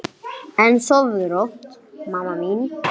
En sofðu rótt, mamma mín.